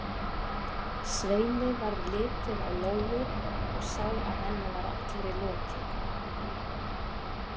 Sveini varð litið á Lóu og sá að henni var allri lokið.